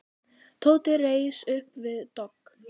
Tóti reis upp við dogg.